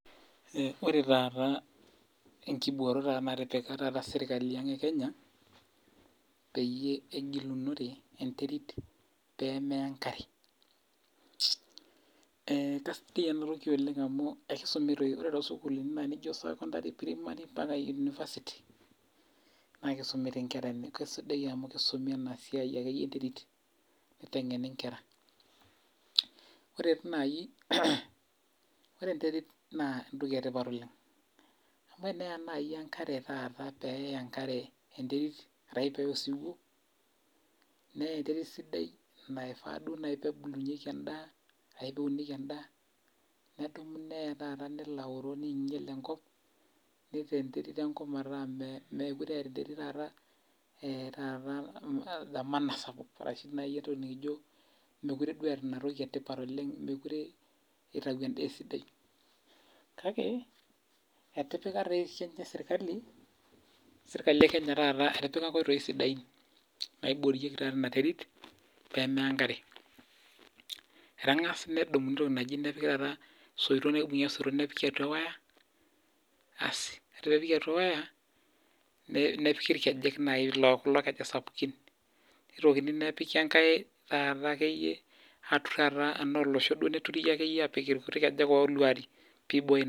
Ore taata enkiborot natipika taata serikali ang' ee Kenya peyie egilunore enterit pee meya enkare. Kisidai ena toki oleng' amuu kisumi too sukuluni naijo primary, secondary mpaka university naa kisumi kisidai amuu kisumi ena siai akeyie entwrit niteng'eni inkera. Ore dii naji, lre enterit naa entoki etipat oleng' amu tenaya naji enkare taa peeya enkare enterit arashu peya osiwuo naa enterit sidai naifaa duo naji pebulunyeki edaaashu peunieki edaa nedumu neya nelo aoro neinyal ankop neitaa enterit enkop meeta mekure etaa entwrit taata thamana sapuk ashu entoki naji nikijo mekkure duo etaa ina toki etipat oleng', mekure itau eda esidai. Kake etipika sii ninche serikali ee kenya etipika inkoitoi sidain naiborieki taata ena terit pee meya enkare. Etang'asa nedumu entoki naji nepiki taata isoitok neeku kibung'i isoitok nepiki atua ee waya asii ore pee epiki atua ewaya nepikii irkejek naaji kulo kejek sapukin. Nitokini nepiki enkare taata akeyie ana olosho neturi akeyie apik ikuti kejek oluarie piboyo.